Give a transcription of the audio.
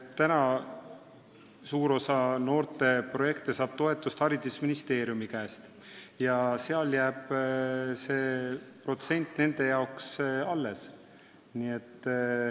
Praegu saab suur osa noorteprojekte toetust haridusministeeriumist ja seal jääb see protsent nende jaoks alles.